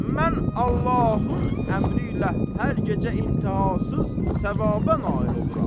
Mən Allahın əmri ilə hər gecə intihasız savaba nail oluram.